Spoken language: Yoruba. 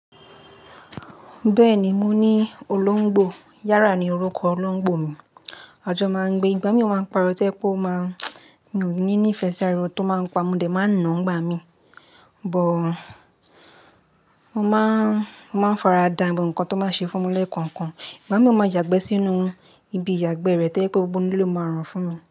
Bẹ́ẹ̀ni, mo ní olóńgbò. Yárà ni orúkọ olóńgbò mi. Àjọ máa ń gbé. Ìgbà mí ò má ń pariwo to jẹ́ pe ó máa, mi ò ní ìfẹ sí ariwo tó máa ń pa modẹ̀ máa ń nà ni igbà mí. But, mo máa ń faradà bó ǹkan tó máa ṣe fún mi lẹ̀ kankan. Ìgbà mí ò máa ń yàgbẹ́ sínú ibi ìyàgbẹ́ rẹ̀ to je pe gbogbo inú ilé ló máa rùn fún mi.